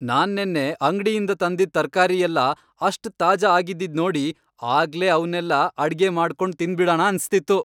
ನಾನ್ ನೆನ್ನೆ ಅಂಗ್ಡಿಯಿಂದ ತಂದಿದ್ ತರ್ಕಾರಿ ಎಲ್ಲ ಅಷ್ಟ್ ತಾಜಾ ಆಗಿದ್ದಿದ್ ನೋಡಿ ಆಗ್ಲೇ ಅವ್ನೆಲ್ಲ ಅಡ್ಗೆ ಮಾಡ್ಕೊಂಡ್ ತಿಂದ್ಬಿಡಣ ಅನ್ಸ್ತಿತ್ತು.